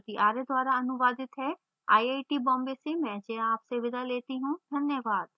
यह स्क्रिप्ट श्रुति आर्य द्वारा अनुवादित है आई आई टी बॉम्बे से मैं जया आपसे विदा लेती हूँ धन्यवाद